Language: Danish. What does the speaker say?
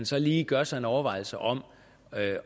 så lige gør sig en overvejelse om